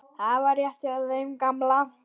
Og það var rétt hjá þeim gamla.